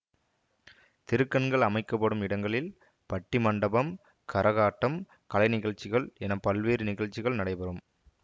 திருக்கண்கள் அமைக்க படும் இடங்களில் பட்டிமண்டபம் கரகாட்டம் கலைநிகழ்ச்சிகள் என பல்வேறு நிகழ்ச்சிகள் நடைபெறும்